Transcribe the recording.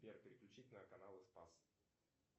сбер переключить на канал спас